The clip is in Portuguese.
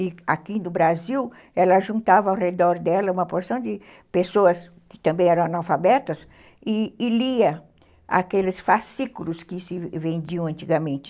E aqui no Brasil, ela juntava ao redor dela uma porção de pessoas que também eram analfabetas e e lia aqueles fascículos que se vendiam antigamente.